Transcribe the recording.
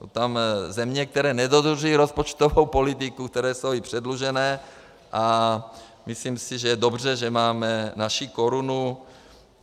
Jsou tam země, které nedodržují rozpočtovou politiku, které jsou i předlužené, a myslím si, že je dobře, že máme naši korunu.